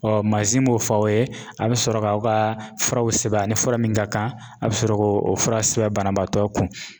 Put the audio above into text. Ɔ manzin m'o fɔ aw ye a be sɔrɔ g'aw ga furaw sɛbɛn ani fura min ka kan a be sɔrɔ k'o o fura sɛbɛn banabaatɔ kun